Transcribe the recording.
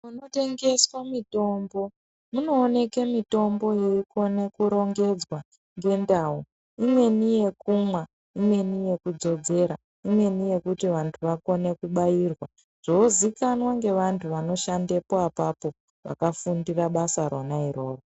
Kunotengeswa mitombo kunoonekwa mitombo yeikona kurongedzwa ngendau imweni yekumwa imweni yekudzodzera imweni yekuti vantu vakone kubairwa zvozikanwa neantu anoshanda ipapo vakafundira basa rona iroro.